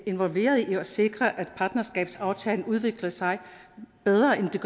involveret i at sikre at partnerskabsaftalen udvikler sig bedre end i